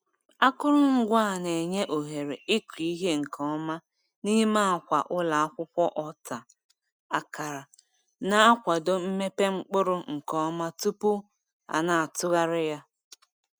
Akụrụngwa a na-enye ohere ịkụ ihe nke ọma n'ime akwa ụlọ akwụkwọ ọta akara, na-akwado mmepe mkpụrụ nke ọma tupu a na-atụgharị ya.